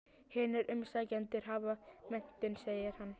Hinir umsækjendurnir hafa menntun, segir hann.